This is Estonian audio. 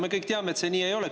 Me kõik teame, et see nii ei ole.